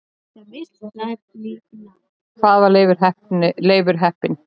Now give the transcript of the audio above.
Hvaðan var Leifur heppni?